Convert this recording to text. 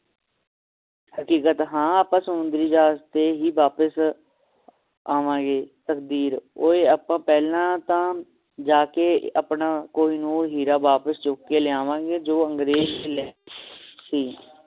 ਹਕੀਕਤ ਹਾਂ ਆਪਾਂ ਸਮੁੰਦਰੀ ਜਹਾਜ਼ ਤੇ ਹੀ ਵਾਪਿਸ ਆਵਾਂਗੇ ਤਕਦੀਰ ਓਏ ਆਪਾਂ ਪਹਿਲਾਂ ਤਾ ਜਾ ਕੇ ਆਪਣਾ ਕਹਿਨੂਰ ਹੀਰਾ ਵਾਪਿਸ ਚੁੱਕ ਕੇ ਲਿਆਵਾਂਗੇ ਜੋ ਅੰਗਰੇਜ਼ ਲੈ ਗਏ ਸੀ